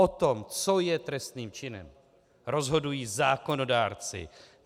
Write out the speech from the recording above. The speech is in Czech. O tom, co je trestným činem, rozhodují zákonodárci.